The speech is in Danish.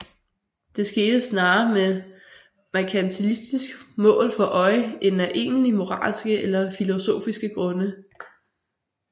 Det skete snarere med et merkantilistisk mål for øje end af egentlig moralske eller filosofiske grunde